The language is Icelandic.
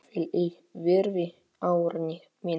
Hvíl í friði, Árni minn.